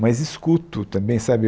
Mas escuto também, sabe?